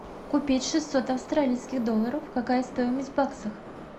купить шестьсот австралийских долларов какая стоимость в баксах